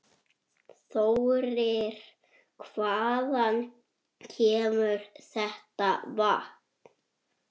Þau höfðu lengi reynt.